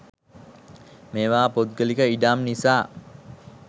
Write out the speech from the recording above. මේවා පුද්ගලික ඉඩම් නිසා